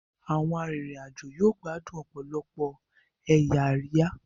Àwọn arinrin-ajo yóò gbádùn òpòlopò ẹyà Àríyá